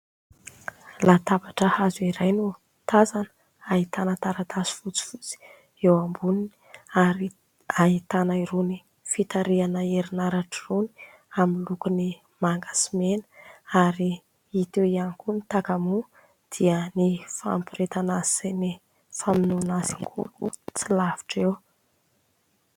Latabatra hazo iray no tazana, ahitana taratasy fotsifotsy eo amboniny, ary ahitana irony fitarihana herinaratra irony amin'ny lokony maga sy mena, ary hita eo ihany koa ny takamoa dia ny fampiretana azy sy ny famonoana azy ihany koa tsy lavitra eo.